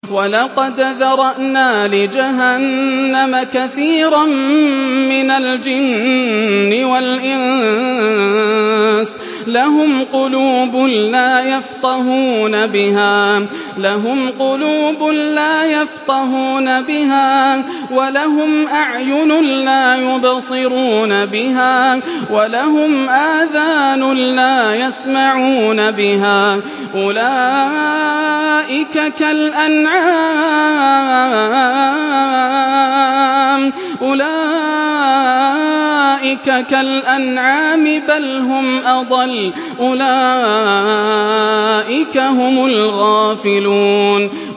وَلَقَدْ ذَرَأْنَا لِجَهَنَّمَ كَثِيرًا مِّنَ الْجِنِّ وَالْإِنسِ ۖ لَهُمْ قُلُوبٌ لَّا يَفْقَهُونَ بِهَا وَلَهُمْ أَعْيُنٌ لَّا يُبْصِرُونَ بِهَا وَلَهُمْ آذَانٌ لَّا يَسْمَعُونَ بِهَا ۚ أُولَٰئِكَ كَالْأَنْعَامِ بَلْ هُمْ أَضَلُّ ۚ أُولَٰئِكَ هُمُ الْغَافِلُونَ